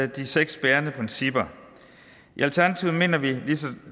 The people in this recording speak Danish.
de seks bærende principper i alternativet mener vi